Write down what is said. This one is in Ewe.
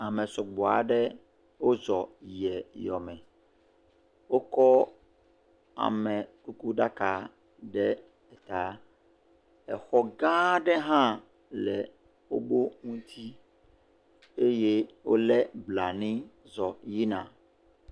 Ame sɔgbɔ aɖe wozɔ yiɛ yome. Wokɔ amekukuɖaka ɖe taa. Exɔ gãaa ɖe hã le woƒo ŋuti. Eye wolé blanui zɔ yina.